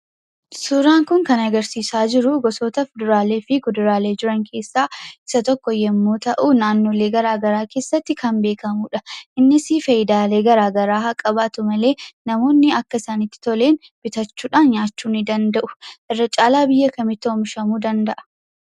Suuraan kun kan agarsiisaa jiru, gosoota kuduraalee fi muduraalee jiran keessa isa tokko yemmuu ta'u, naannoo garaagaraa keessatti kan beekamudha. innis faayidaalee garaagaraa haa qabatu malee, namoonni akka isaanitti toleedhan bitachuudhaan nyaachuu ni danda'u. Irrra caalaa biyya kamitti oomishamuu danda'a?